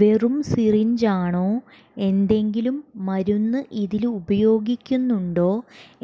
വെറും സിറിഞ്ചാണോ എന്തെങ്കിലും മരുന്ന് ഇതില് ഉപയോഗിക്കുന്നുണ്ടോ